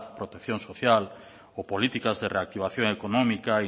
protección social o políticas de reactivación económica